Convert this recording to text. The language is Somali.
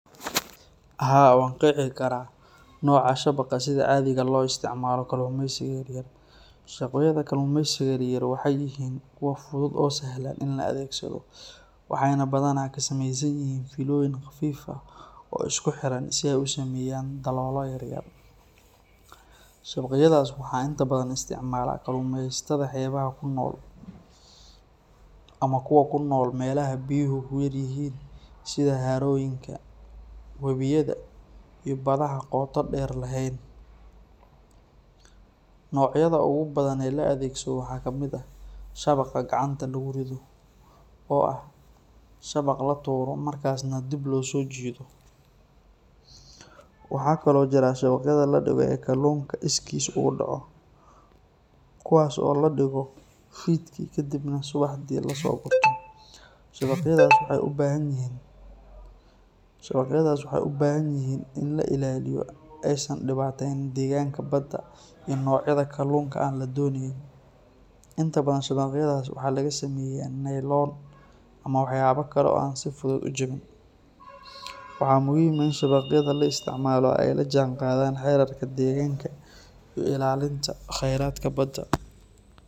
Haa, waan qeexi karaa nooca shabaqa sida caadiga ah loo isticmaalo kalluumeysiga yaryar. Shabaqyada kalluumeysiga yaryar waxay yihiin kuwa fudud oo sahlan in la adeegsado, waxayna badanaa ka samaysan yihiin fiilooyin khafiif ah oo isku xiran si ay u sameeyaan daloolo yar yar. Shabaqyadaas waxaa inta badan isticmaala kalluumeysatada xeebaha ku nool ama kuwa ku nool meelaha biyuhu ku yar yihiin sida harooyinka, webiyada iyo badaha qoto-dheer lahayn. Noocyada ugu badan ee la adeegsado waxaa kamid ah shabaqa gacanta lagu rido, oo ah shabaq la tuuro markaasna dib loo soo jiido. Waxaa kaloo jira shabaqyada la dhigo ee kalluunka iskiis ugu dhaco, kuwaas oo la dhigo fiidkii kadibna subaxnimadii la soo gurto. Shabaqyadaas waxay u baahan yihiin in la ilaaliyo si aysan u dhibaateyn deegaanka badda iyo noocyada kalluunka aan la doonayn. Inta badan shabaqyadaas waxaa laga sameeyaa nayloon ama waxyaabo kale oo aan si fudud u jabin. Waxaa muhiim ah in shabaqyada la isticmaalo ay la jaanqaadaan xeerarka deegaanka iyo ilaalinta kheyraadka badda.